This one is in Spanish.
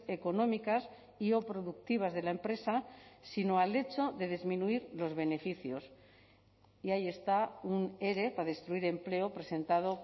económicas y o productivas de la empresa sino al hecho de disminuir los beneficios y ahí está un ere para destruir empleo presentado